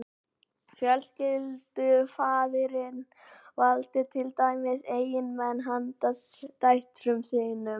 fjölskyldufaðirinn valdi til dæmis eiginmenn handa dætrum sínum